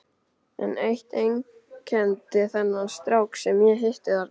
En eitt einkenndi þennan strák sem ég hitti þarna.